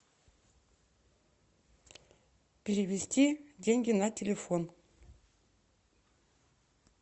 перевести деньги на телефон